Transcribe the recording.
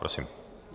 Prosím.